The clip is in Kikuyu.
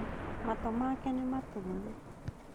Matũ make nĩ matune